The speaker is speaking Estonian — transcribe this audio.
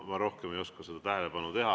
Ma rohkem ei oska seda.